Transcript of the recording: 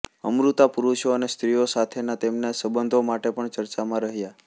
અમૃતા પુરુષો અને સ્ત્રીઓ સાથેના તેમના સંબંધો માટે પણ ચર્ચામાં રહ્યા